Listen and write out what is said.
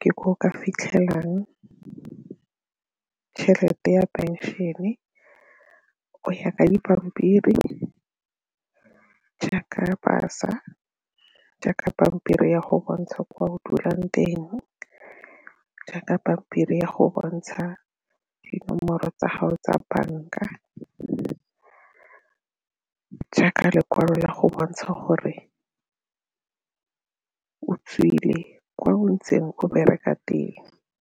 ke fitlhelang tšhelete ya pension-e, o ya ka dipampiri jaaka pasa jaaka pampiri ya go bontsha kwa o dulang teng jaaka pampiri ya go bontsha dinomoro tsa gago tsa banka jaaka lekwalo la go bontsha gore o tswile kwa o ntseng o bereka teng.